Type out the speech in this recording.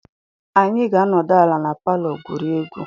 Anyị ga-anọdụ ala na palọ gwurie egwu.